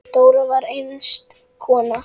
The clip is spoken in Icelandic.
Dóra var einstök kona.